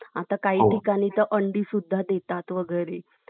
आता काही ठिकाणी तर अंडी सुद्धा देतात वेगैरे ,